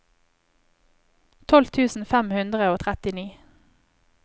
tolv tusen fem hundre og trettini